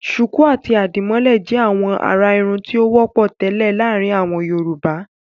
Ṣùkú àti àdìmọ́lẹ̀ jẹ́ àwọn àrà-irun tó wọ́pọ̀ tẹ́lẹ̀ láàárin àwọn Yorùbá.